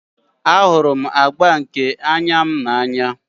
Ahụrụ m agba nke anya m n'anya